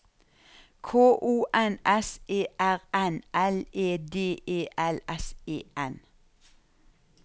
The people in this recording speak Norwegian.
K O N S E R N L E D E L S E N